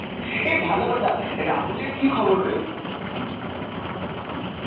এই ভালো কথা, রাহুল এর কী খবর রে?